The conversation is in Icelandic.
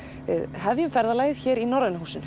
við hefjum ferðalagið hér í Norræna húsinu